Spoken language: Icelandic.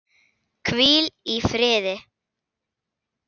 Hvíl í friði!